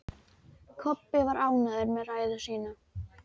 Kobbi var ánægður með ræðu sína.